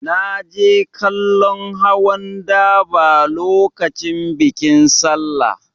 Na je kallon hawan daba lokacin bikin Sallah.